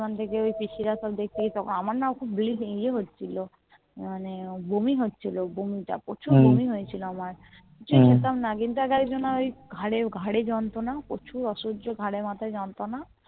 ওখান থেকে সব পিসির সব দেখতে গেছিলো আমার না বলি খুব যে হচ্ছিলো মানে বমি হচ্ছিলো প্রচুর বমি হচ্ছিলো আমি কিছু যেতাম না কিন্তু কদিন আগে আমার ওই ঘরে যন্ত্রনা প্রচুর অসহ্য ঘাড়ে মাথায় যন্ত্রনা